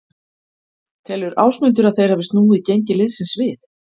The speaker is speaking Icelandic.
Telur Ásmundur að þeir hafi snúið gengi liðsins við?